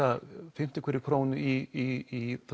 fimmtu hverri krónu í